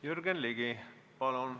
Jürgen Ligi, palun!